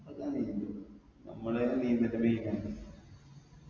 നമ്മളൊക്കെ നീന്തും മ്മടെയൊക്കെ നീന്തലിന്റെ main ആണ്